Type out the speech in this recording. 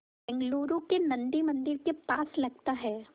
बेंगलूरू के नन्दी मंदिर के पास लगता है